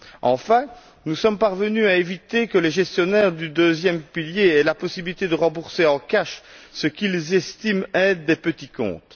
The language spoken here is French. Enfin, nous sommes parvenus à éviter que les gestionnaires du deuxième pilier aient la possibilité de rembourser en cash ce qu'ils estiment être des petits comptes.